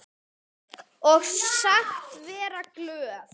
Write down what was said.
Og sagst vera glöð.